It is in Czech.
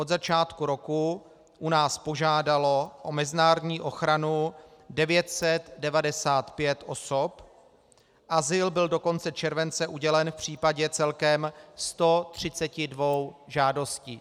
Od začátku roku u nás požádalo o mezinárodní ochranu 995 osob, azyl byl do konce července udělen v případě celkem 132 žádostí.